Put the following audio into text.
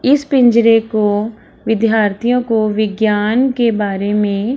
इस पिंजरे को विद्यार्थियों को विज्ञान के बारे में --